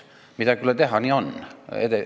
Midagi ei ole teha, nii on.